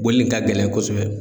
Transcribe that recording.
Bɔli nin ka gɛlɛn kosɛbɛ.